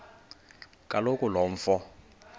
kaloku lo mfo